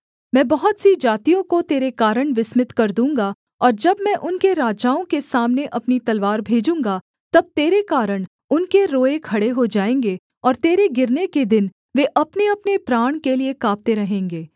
मैं बहुत सी जातियों को तेरे कारण विस्मित कर दूँगा और जब मैं उनके राजाओं के सामने अपनी तलवार भेजूँगा तब तेरे कारण उनके रोएँ खड़े हो जाएँगे और तेरे गिरने के दिन वे अपनेअपने प्राण के लिये काँपते रहेंगे